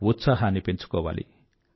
ఉత్సాహాన్నీ పెంచుకోవాలి